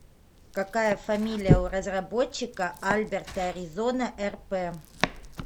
какая фамилия у разработчика альберта аризона рп